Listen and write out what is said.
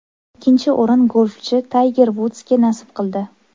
Ikkinchi o‘rin golfchi Tayger Vudsga nasib qildi.